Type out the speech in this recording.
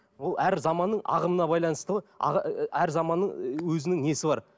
ол әр заманның ағымына байланысты ғой әр заманның өзінің несі бар